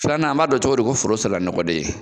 Filanan an b'a dɔn cogo di ko foro sera nɔgɔdon ye